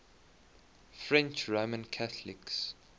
french roman catholics